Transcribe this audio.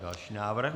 Další návrh.